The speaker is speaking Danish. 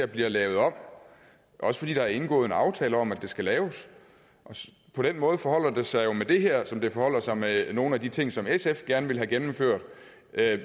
bliver lavet om også fordi der er indgået en aftale om at de skal laves på den måde forholder det sig jo med det her som det forholder sig med nogle af de ting som sf gerne vil have gennemført